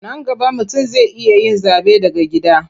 Nan gaba mutum zai iya yin zaɓe daga gida.